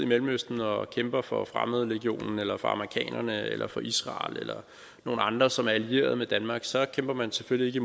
mellemøsten og kæmper for fremmedlegionen eller for amerikanerne eller for israel eller nogle andre som er allieret med danmark så kæmper man selvfølgelig